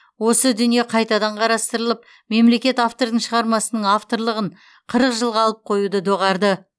осы дүние қайтадан қарастырылып мемлекет автордың шығармасының авторлығын қырық жылға алып қоюды доғарды